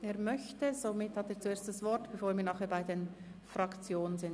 – Er möchte, somit hat er zuerst das Wort, bevor wir nachher zu den Fraktionen kommen.